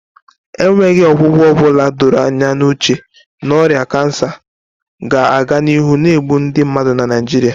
enweghị ọgwụgwọ ọ bụla doro anya n'uche na ọrịa kansa ga-aga n'ihu na-egbu ndị mmadụ na Naijiria